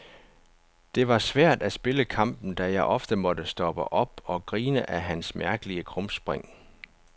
Det var svært at spille kampen, da jeg ofte måtte stoppe op og grine af hans mærkelige krumspring.